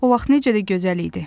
O vaxt necə də gözəl idi.